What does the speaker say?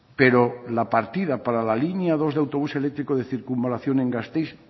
pero la partida para la línea dos del autobús eléctrico de circunvalación en gasteiz